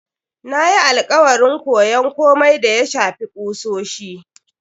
Na yi alakwarin koyon komai da ya shafi kusoshi.